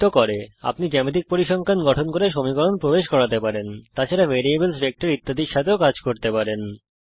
সুতরাং আপনি জ্যামিতিক পরিসংখ্যান গঠন করতে পারেন সমীকরণ প্রবেশ করাতে পারেন তাছাড়া ভেরিয়েবলস ভেক্টরস ইত্যাদির সঙ্গে কাজ করতে পারেন